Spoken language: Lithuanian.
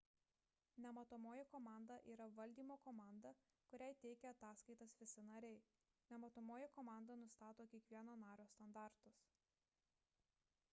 nematomoji komanda yra valdymo komanda kuriai teikia ataskaitas visi nariai nematomoji komanda nustato kiekvieno nario standartus